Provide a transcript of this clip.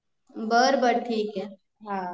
बरं बरं ठिके